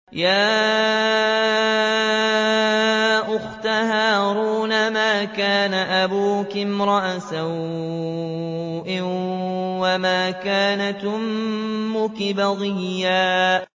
يَا أُخْتَ هَارُونَ مَا كَانَ أَبُوكِ امْرَأَ سَوْءٍ وَمَا كَانَتْ أُمُّكِ بَغِيًّا